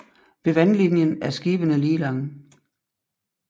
Ved vandlinjen er skibene lige lange